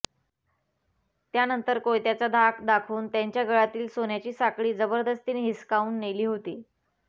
त्यानंतर कोयत्याचा धाक दाखवून त्यांच्या गळ्यातील सोन्याची साखळी जबरदस्तीने हिसकावून नेली होती